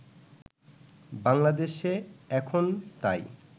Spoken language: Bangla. বাংলাদেশে এখন তাই